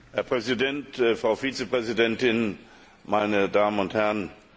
Herr Präsident, Frau Vizepräsidentin, meine Damen und Herren!